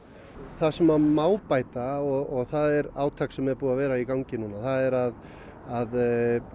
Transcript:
það sem að má bæta og það er átak sem er búið að vera í gangi núna það er að að